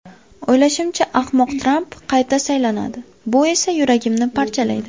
O‘ylashimcha, ahmoq Tramp qayta saylanadi, bu esa yuragimni parchalaydi.